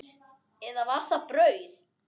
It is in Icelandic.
Eða var það brauð?